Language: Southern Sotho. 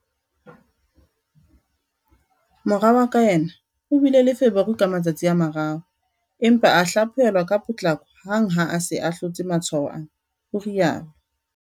"Mora wa ka yena o bile le feberu ka matsatsi a mararo, empa a hlaphohel-wa ka potlako hang ha a se a hlotse matshwao ana," o rialo.